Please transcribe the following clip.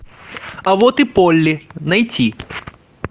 а вот и полли найти